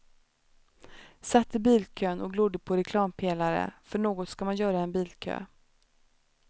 Satt i bilkön och glodde på reklampelare, för något ska man göra i en bilkö.